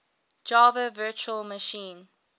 java virtual machine